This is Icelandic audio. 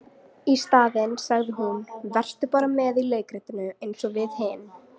Í staðinn sagði hún:- Vertu bara með í leikritinu eins og við hin.